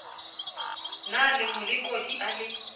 na le molekodi a le